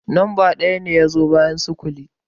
Lamba ɗaya ne ya zo bayan sifili